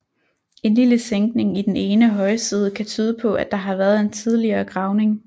En lille sænkning i den ene højside kan tyde på at der har været en tidligere gravning